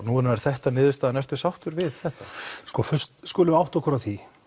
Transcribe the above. nú er er þetta niðurstaðan ertu sáttur við þetta sko fyrst skulum við átta okkur á því